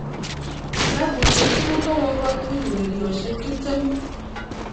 Kilabushek tugul kokokotuch urerioshek 20